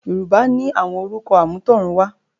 Yorùbá ni àwọn orúkọ àmútọ̀runwá